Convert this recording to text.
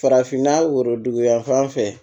Farafinna worodugu yanfan fɛ